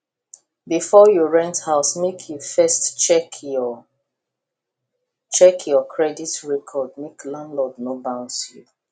before you rent house make you first check your check your credit record make landlord no bounce you